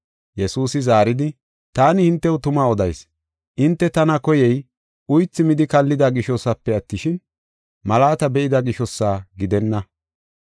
Yesuusi zaaridi, “Taani hintew tuma odayis; hinte tana koyey uythi midi kallida gishosafe attishin, malaata be7ida gishosa gidenna.